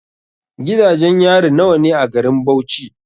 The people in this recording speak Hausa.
Gidajen yari nawa ne a garin Bauchi?